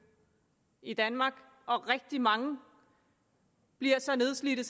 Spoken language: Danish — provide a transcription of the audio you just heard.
i danmark og rigtig mange bliver så nedslidte